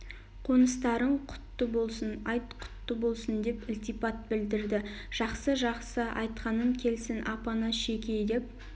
қоныстарың құтты болсын айт құтты болсын деп ілтипат білдірді жақсы жақсы айтқанын келсін апанас жекей деп